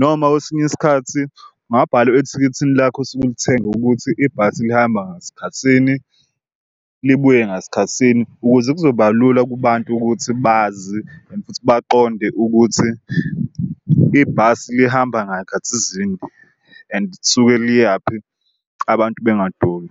Noma kwesinye isikhathi kungabhalwaa ethikithini lakho osuke ulithenga ukuthi ibhasi lihamba ngasikhathisini libuye ngasikhathisini ukuze kuzobalula kubantu ukuthi bazi and futhi baqonde ukuthi ibhasi lihamba ngayikhathizini and lisuke liyaphi, abantu bengaduki.